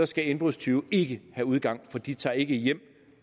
skal indbrudstyve ikke have udgang for de tager ikke hjem